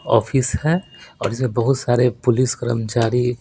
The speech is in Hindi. ऑफिस है और इसमें बहुत सारे पुलिस कर्मचारी--